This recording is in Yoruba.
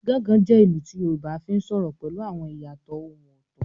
“Gangan” jẹ́ ìlù tí Yorùbá fi ń sọ̀rọ̀ pẹ̀lú àwọn ìyàtọ̀ ohùn ọ̀tọ̀.